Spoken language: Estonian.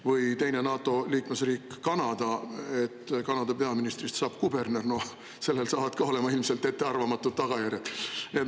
Või teine NATO liikmesriik Kanada, et kui Kanada peaministrist saab kuberner – no sellel saavad ka olema ilmselt ettearvamatud tagajärjed.